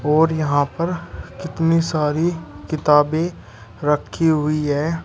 और यहां पर कितनी सारी किताबें रखी हुई है।